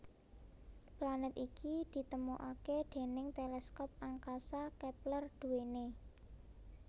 Planet iki ditemukaké déning teleskop angkasa Kepler duwené